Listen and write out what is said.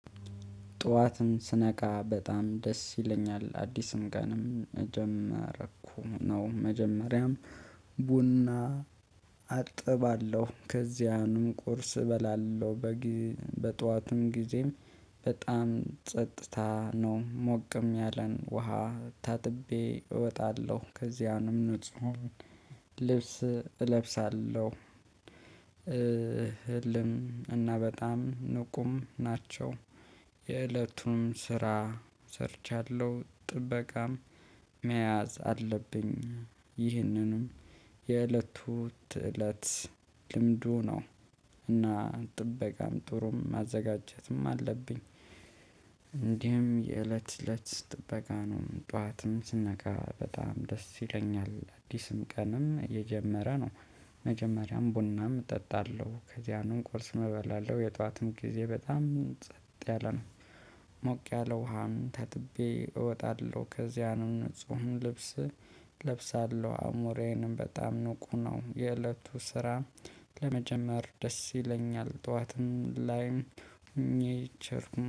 ጧትን ስነቃ በጣም ደስ ይለኛል። አዲስም ቀንም ጀመረኩ ነው። መጀመሪያም ቡና አጥባለሁ። ከዚያንም ቁርስ እበላለሁ። በግ በጠዋትም ጊዜም በጣም ጸጥታ ነው። ሞቅም ያለን ውሃ ታጥቤ እወጣለሁ። ከዚያንም ንጹህ ልብስ እለብሳለሁ። ህልም እና በጣም ንቁም ናቸው የእለቱም ስራ ሰርቻለሁ። ጥበቃም መያዝ አለብኝ። ይህንንም የእለቱ ትእለት ልምዱ ነው። እና ጥበቃም ጥሩም ማዘጋጀትም አለብኝ። እንዲህም የእለት ለት ጥበቃ ነው ጠዋትም ስነቃ በጣም ደስ ይለኛል። አዲስም ቀንም የጀመረ ነው። መጀመሪያም ቡናም እጠጣለሁ። ከዚያንም ቁርስ መበላለሁ የጧትም ጊዜ በጣም ጸጥ ያለ ነው። ሞቅ ያለ ውሃም ተጥቤ እወጣለሁ። ከዚያንም ንፁህን ልብስ እለብሳለሁ። አሞሬንም በጣም ንቁ ነው። የእለቱ ስራ ለመጀመር ደስ ይለኛል። ጠዋትም ላይም ኒቸር